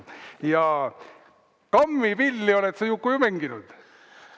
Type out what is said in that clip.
Ja kammipilli oled sa, Juku, ju mänginud?